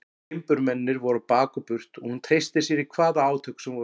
Timburmennirnir voru á bak og burt og hún treysti sér í hvaða átök sem voru.